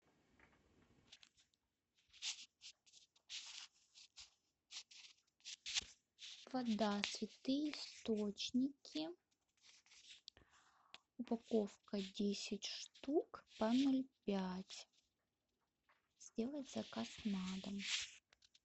вода святые источники упаковка десять штук по ноль пять сделать заказ на дом